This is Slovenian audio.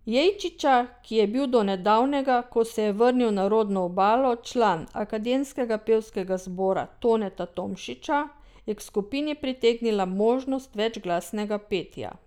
Jejčiča, ki je bil do nedavnega, ko se je vrnil na rodno Obalo, član Akademskega pevskega zbora Toneta Tomšiča, je k skupini pritegnila možnost večglasnega petja.